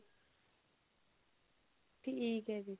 ਠੀਕ ਹੈ ਜੀ